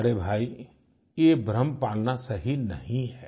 अरे भाई ये भ्रम पालना सही नहीं है